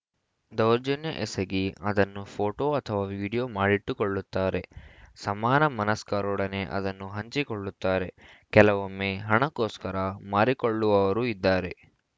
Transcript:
ದೌರ್ಜನ್ಯ ಎಸಗಿ ಅದನ್ನು ಫೋಟೋ ಅಥವಾ ವಿಡಿಯೋ ಮಾಡಿಟ್ಟುಕೊಳ್ಳುತ್ತಾರೆ ಸಮಾನ ಮನಸ್ಕರೊಡನೆ ಅದನ್ನು ಹಂಚಿಕೊಳ್ಳುತ್ತಾರೆ ಕೆಲವೊಮ್ಮೆ ಹಣಕ್ಕೋಸ್ಕರ ಮಾರಿಕೊಳ್ಳುವವರೂ ಇದ್ದಾರೆ